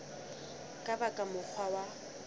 ka ba ka mokgwa wa